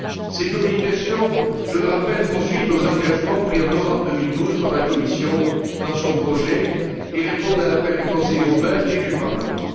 Ces communications, je le rappelle, font suite aux engagements pris en novembre 2012 par la Commission dans son projet et répondent à l'appel du Conseil européen et du Parlement.